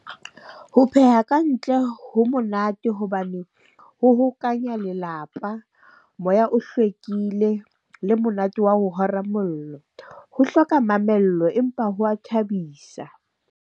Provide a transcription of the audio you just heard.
Ho pheha kantle ho monate hobane ho hokanya lelapa, moya o hlwekile le monate wa ho hora mollo. Ho hloka mamello empa ho wa thabisa.